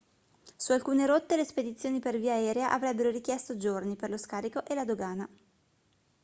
su alcune rotte le spedizioni per via aerea avrebbero richiesto giorni per lo scarico e la dogana